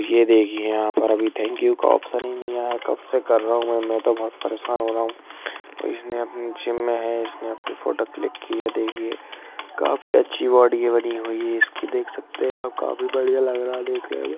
ये देखिए यहाँ पे अभी थैंक यू का आप्शन ही नहीं आया कब से कर रहा हूँ मैं मैं तो बहुत परेशान हो रहा हूँ इसने अपनी जिम में है इसने अपनी फोटो क्लिक की है देखिए काफी अच्छी बॉडी बनी हुई है इसकी देख सकते हैं आप काफी बढ़िया लग रहा है देखने में।